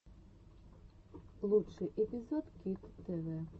лучший эпизод кито тв